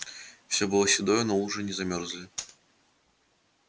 всё было седое но лужи не замерзали